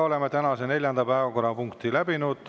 Oleme tänase neljanda päevakorrapunkti läbinud.